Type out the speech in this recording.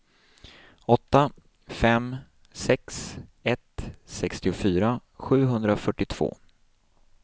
åtta fem sex ett sextiofyra sjuhundrafyrtiotvå